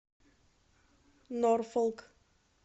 норфолк